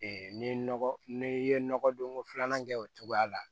n'i ye nɔgɔ n'i ye nɔgɔ don ko filanan kɛ o cogoya la